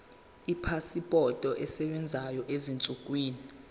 ipasipoti esebenzayo ezinsukwini